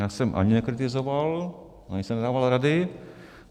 Já jsem ani nekritizoval, ani jsem nedával rady.